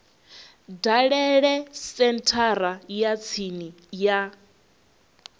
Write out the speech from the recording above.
dalele senthara ya tsini ya